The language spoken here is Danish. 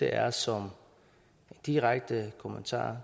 er som direkte kommentar